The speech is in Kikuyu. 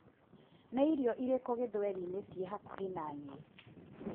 Nĩ irio irĩkũ gĩthweri-inĩ ciĩ hakuhĩ na niĩ?